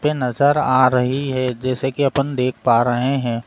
पे नजर आ रही है जैसा कि अपन देख पा रहे हैं।